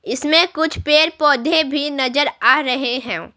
इसमें कुछ पेड़-पौधे भी नजर आ रहे हैं।